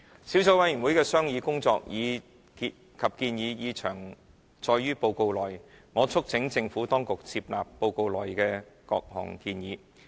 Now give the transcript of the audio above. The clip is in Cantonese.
小組委員會的商議工作及建議已詳載於報告內，我促請政府當局接納報告內的各項建議。